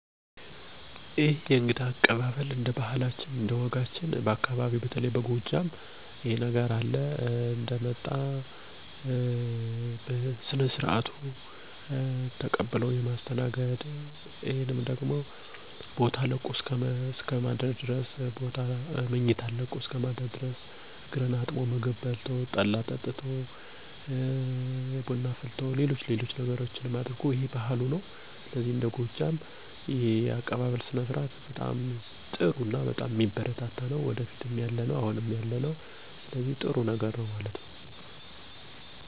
የእኔ ቤተሰቦች ወይም የአካባቢያችን ማህበረሰብ ብዙ አይነት የእንግዳ መቀበያ ልምዶች ወይም ባህሎች አሉ። ለምሳሌ፦ የመጀመሪያው አንድ እንግዳ" ደህና ዋላችሁ"ብሎ ደጅ ላይ ሲቆም አግዚአብሄር ይመስገን ተብሎ ዝቅ ብሎ ጉልበቱን ስሞ የያዘውን ዱላ ወይም ብትር ተቀብሎ ወደ ቤት ማስገባት ነው። ከዚያ በመቀጠል ቤት ያፈራውን እንደሁኔታው ቡና ይፈላል፣ የቡና ቁርስ ይቀርባል፣ የተለያዩ ባህላዊ መጠጦች ጠላ፣ አረቂ፣ ከተማ አካባቢ ከሆነ ደግሞ ቢራ እና ቀዝቃዛ መጠጦች ይቀርባል።